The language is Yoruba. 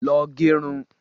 Lọọ gẹ irun